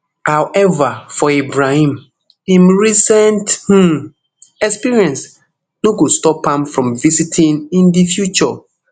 however for ibrahim im recent um experience no go stop am from visiting in di future